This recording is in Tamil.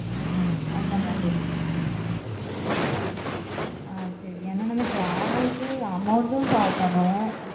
ஹம் அந்த மாதிரி ஆஹ் சரி ஏன்னா நம்ம travel க்கு amount பாக்கணும்